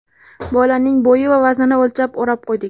Bolaning bo‘yi va vaznini o‘lchab o‘rab qo‘ydik.